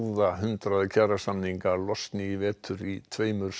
hundrað kjarasamninga losni í vetur í tveimur